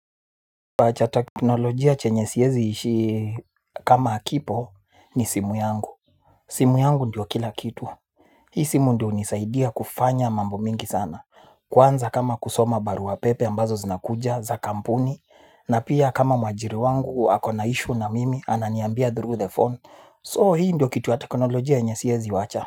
Kifaa cha teknolojia chenye siezi ishi kama hakipo ni simu yangu. Simu yangu ndio kila kitu. Hii simu ndio unisaidia kufanya mambo mingi sana. Kwanza kama kusoma baruapepe ambazo zinakuja za kampuni. Na pia kama mwajiri wangu akona ishu na mimi ananiambia through the phone. So hii ndio kitu ya teknolojia yenye siezi wacha.